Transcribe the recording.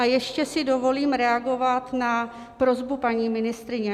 A ještě si dovolím reagovat na prosbu paní ministryně.